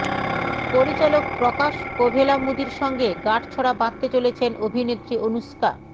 পরিচালক প্রকাশ কোভেলামুদির সঙ্গে গাঁটছড়া বাঁধতে চলেছেন অভিনেত্রী অনুষ্কা